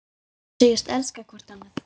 Og segjast elska hvort annað.